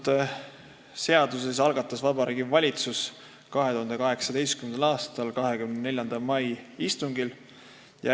Selle seaduse algatas Vabariigi Valitsus 2018. aastal 24. mai istungil.